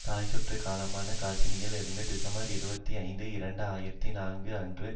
தாய் சுற்று கலமான காசினியில் இருந்து டிசம்பர் இருபத்தி ஐந்து இரண்டு ஆயிரத்தி நான்கு அன்று